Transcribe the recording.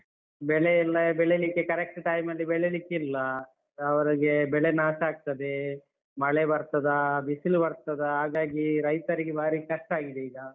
ಬೆಳೆ ಇಲ್ಲ, ಬೆಳೆಲಿಕ್ಕೆ correct time ಬೆಳೆಲಿಕಿಲ್ಲ. ಅವರಿಗೆ ಬೆಳೆ ನಾಶ ಆಗ್ತದೆ, ಮಳೆ ಬರ್ತದಾ ಬಿಸಿಲು ಬರ್ತದಾ ಹಾಗಾಗಿ ರೈತರಿಗೆ ಬಾರಿ ಕಷ್ಟ ಆಗಿದೆ ಈಗ.